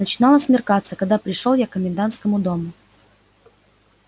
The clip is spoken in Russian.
начинало смеркаться когда пришёл я к комендантскому дому